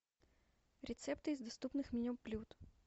рецепты из доступных меню блюд